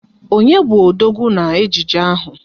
Onye bu odogwu na ejije ahụ?